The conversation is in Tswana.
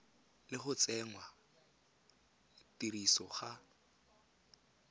le go tsenngwa tirisong ga